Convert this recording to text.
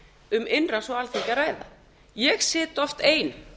um innrás á alþingi að ræða ég sit oft ein